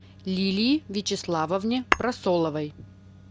лилии вячеславовне прасоловой